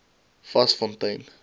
vasfontein